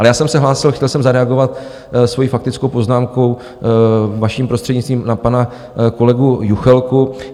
Ale já jsem se hlásil, chtěl jsem zareagovat svou faktickou poznámkou, vaším prostřednictvím, na pana kolegu Juchelku.